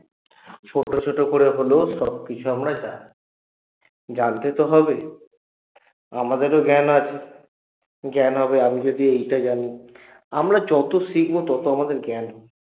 ছোট ছোট করে হলেও সবকিছু আমরা জানি জানতে তো হবে আমাদেরও জ্ঞান আছে জ্ঞান হবে আমি যদি এইটা জানি। আমরা যত শিখবো তত আমাদের জ্ঞান হবে